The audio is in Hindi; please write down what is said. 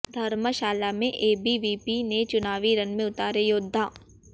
धर्मशाला में एबीवीपी ने चुनावी रण में उतारे योद्धा